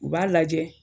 U b'a lajɛ